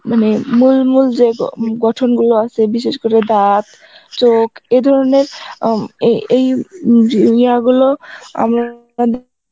মানে মূল মূল যে গ~ গঠন গুলো আছে মানে বিশেষ করে দাঁত, চোখ এই ধরনের উম এই এই গুলো